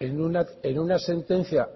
en una sentencia